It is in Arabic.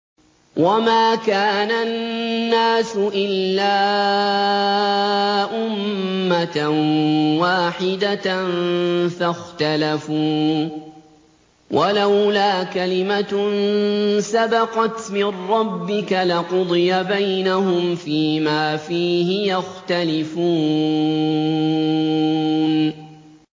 وَمَا كَانَ النَّاسُ إِلَّا أُمَّةً وَاحِدَةً فَاخْتَلَفُوا ۚ وَلَوْلَا كَلِمَةٌ سَبَقَتْ مِن رَّبِّكَ لَقُضِيَ بَيْنَهُمْ فِيمَا فِيهِ يَخْتَلِفُونَ